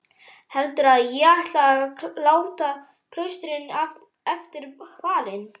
Heldurðu að ég ætli að láta klaustrinu eftir hvalinn?